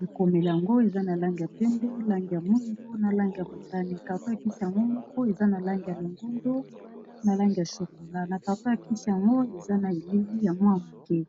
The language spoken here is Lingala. bikomeli yango eza na lange ya pembe, lange ya muindu na lange ya motani Carto ya kisi yango moko eza na lange ya longundo na lange ya sokola na Carto ya kisi yango eza na elili ya mwa moke.